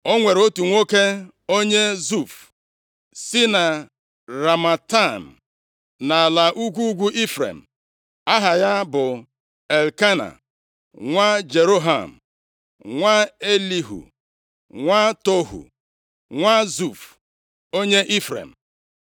O nwere otu nwoke onye Zuf, si na Ramataim, nʼala ugwu ugwu Ifrem. Aha ya bụ Elkena nwa Jeroham, nwa Elihu, nwa Tohu, nwa Zuf, onye Ifrem.